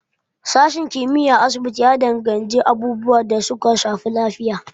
Sashen kimiyyar asibiti ya gabatar da abubuwan da suka danganci lafiya.